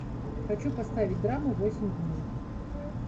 хочу поставить драму восемь дней